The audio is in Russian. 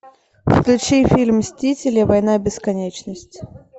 включи фильм мстители война бесконечности